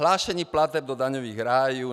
Hlášení plateb do daňových rájů.